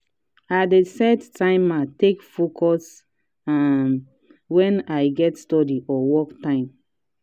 i dey set timer take focus um wen i get study or work time.